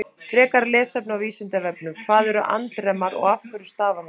Frekara lesefni á Vísindavefnum: Hvað er andremma og af hverju stafar hún?